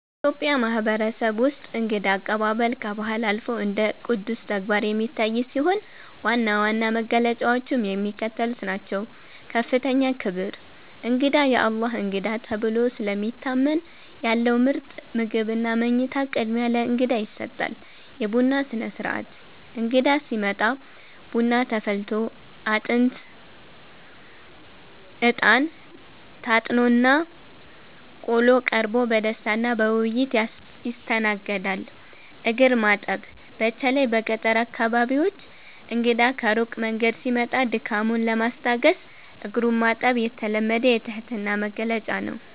በኢትዮጵያ ማህበረሰብ ውስጥ እንግዳ አቀባበል ከባህል አልፎ እንደ ቅዱስ ተግባር የሚታይ ሲሆን፣ ዋና ዋና መገለጫዎቹም የሚከተሉት ናቸው፦ ከፍተኛ ክብር፦ እንግዳ "የአላህ እንግዳ" ተብሎ ስለሚታመን፣ ያለው ምርጥ ምግብና መኝታ ቅድሚያ ለእንግዳ ይሰጣል። የቡና ሥነ-ሥርዓት፦ እንግዳ ሲመጣ ቡና ተፈልቶ፣ አጥንት (እጣን) ታጥኖና ቆሎ ቀርቦ በደስታና በውይይት ይስተናገዳል። እግር ማጠብ፦ በተለይ በገጠር አካባቢዎች እንግዳ ከሩቅ መንገድ ሲመጣ ድካሙን ለማስታገስ እግሩን ማጠብ የተለመደ የትህትና መግለጫ ነው።